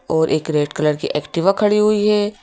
और एक red colour की एक्टिवा खड़ी हुई है।